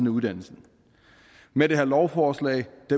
af uddannelsen med det her lovforslag